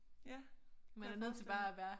Ja kunne jeg forestille mig